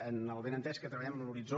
amb el benentès que treballem en l’horitzó